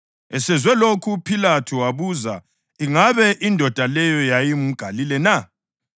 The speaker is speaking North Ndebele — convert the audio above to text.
Esezwe lokhu uPhilathu wabuza ingabe indoda leyo yayingumGalile na.